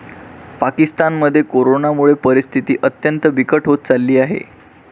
पाकिस्तानमध्ये करोनामुळे परिस्थिती अत्यंत बिकट होत चालली आहे.